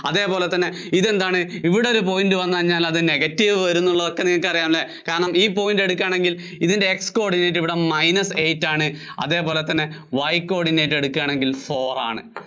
അതേപോലെ തന്നെ ഇവിടെ എന്താണ് ഇവിടൊരു point വന്ന് കഴിഞ്ഞാല്‍ അത് negative വരും എന്നുള്ളതൊക്കെ നിങ്ങള്‍ക്കറിയാം അല്ലേ കാരണം ഈ point എടുക്കുവാണെങ്കില്‍ ഇതിന്‍റെ X coordinate ഇവിടെ minus eight ആണ് അതേപോലെ തന്നെ Y coordinate എടുക്കുവാണെങ്കില്‍ four ആണ്.